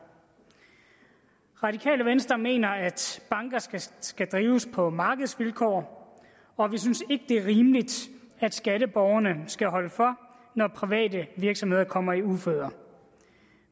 radikale venstre mener at banker skal skal drives på markedsvilkår og vi synes ikke det er rimeligt at skatteborgerne skal holde for når private virksomheder kommer i uføre